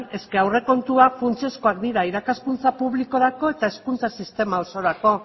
aurrekontuak funtsezkoak dira irakaskuntza publikorako eta hezkuntza sistema osorako